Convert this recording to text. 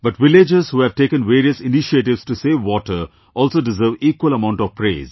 But villagers who have taken various initiatives to save water also deserve equal amount of praise